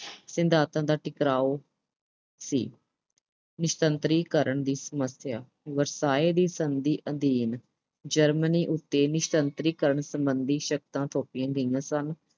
ਸਿਧਾਂਤਾਂ ਦਾ ਟਕਰਾਓ ਸੀ। ਨਿਸ਼ਸਤਰੀਕਰਨ ਦੀ ਸਮੱਸਿਆ। ਵਰਸਾਏ ਦੀ ਸੰਧੀ ਅਧੀਨ Germany ਉੱਤੇ ਨਿਸ਼ਸਤਰੀਕਰਨ ਸਬੰਧੀ ਸ਼ਰਤਾਂ ਥੋਪੀਆਂ ਗਈਆਂ ਸਨ।